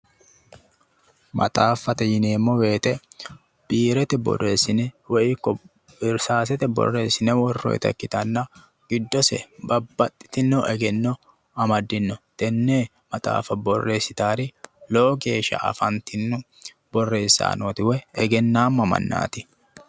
Maxaaffate yineemmo woyte biirete woy irsaasete borreessine worroyta ikkitanna giddose babbaxitinno egenno amadino tenne borrow borreessitaeori lowo geeshsha afantinno woy egennaamma mannaati